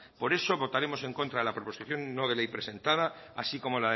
por eso votaremos en contra de la proposición no de ley presentado así como